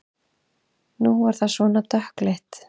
Nú er það svona dökkleitt!